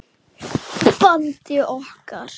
bandi okkar.